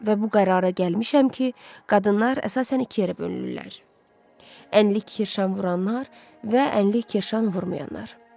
Və bu qərara gəlmişəm ki, qadınlar əsasən iki yerə bölünürlər: ənlik kirşan vuranlar və ənlik kirşan vurmayanlar.